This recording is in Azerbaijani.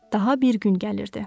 Daha bir gün gəlirdi.